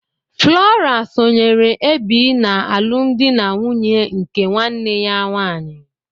Flora sonyeere Ebi n'alụmdi na nwunye nke nwanne ya nwanyị.